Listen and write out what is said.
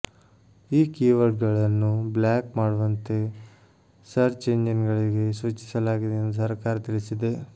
ಈ ಕೀವರ್ಡ್ಗಳನ್ನು ಬ್ಲಾಕ್ ಮಾಡುವಂತೆ ಸರ್ಚ್ ಎಂಜಿನ್ಗಳಿಗೆ ಸೂಚಿಸಲಾಗಿದೆ ಎಂದು ಸರಕಾರ ತಿಳಿಸಿದೆ